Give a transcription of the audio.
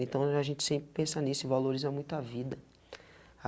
Então, a gente sempre pensa nisso e valoriza muito a vida.